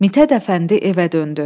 Mithət Əfəndi evə döndü.